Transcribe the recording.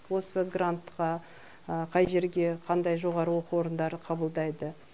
осы грантқа қай жерге қандай жоғары оқу орындары қабылдайды